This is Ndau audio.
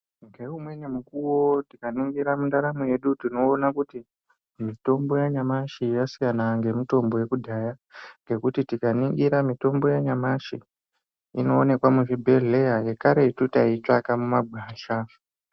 Ngeumweni mukuwo tikaningira mundaramo yedu tinoona kuti mitombo yanyamashi yasiyana ngemitombo yakudhaya. Ngekuti tikaningira mitombo yanyamashi inoonekwa muzvibhedhleya, yekaretu taitsvaka mumagwasha.